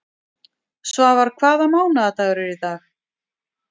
Ástæðan er oft það nostur sem hafa þurfti við matreiðsluna til að gera hráefnið gómsætt.